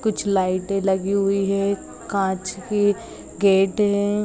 कुछ लाइटे लगी हुई है कांच के गेट है ।